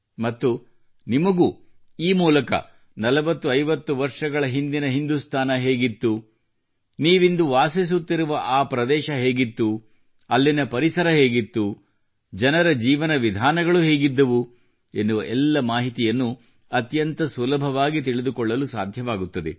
ಮತ್ತು ಈ ಮೂಲಕ ನಿಮಗೂ 4050 ವರ್ಷಗಳ ಹಿಂದಿನ ಹಿಂದುಸ್ತಾನ ಹೇಗಿತ್ತು ನೀವು ವಾಸಿಸುತ್ತಿರುವ ಪ್ರದೇಶ ಹೇಗಿತ್ತು ಅಲ್ಲಿನ ಪರಿಸರ ಹೇಗಿತ್ತು ಜನರ ಜೀವನ ವಿಧಾನಗಳು ಹೇಗಿದ್ದವು ಎನ್ನುವ ಎಲ್ಲ ಮಾಹಿತಿಯನ್ನು ಅತ್ಯಂತ ಸುಲಭವಾಗಿ ತಿಳಿದುಕೊಳ್ಳಲು ಸಾಧ್ಯವಾಗುತ್ತದೆ